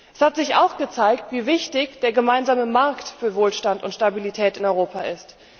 Es hat sich auch gezeigt, wie wichtig der gemeinsame Markt für Wohlstand und Stabilität in Europa ist.